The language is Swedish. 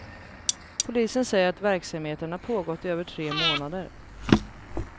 Polisen säger att verksamheten har pågått i över tre månader.